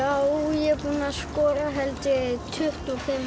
ég er búinn að skora held ég tuttugu og fimm